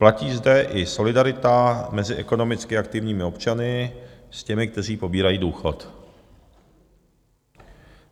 Platí zde i solidarita mezi ekonomicky aktivními občany s těmi, kteří pobírají důchod.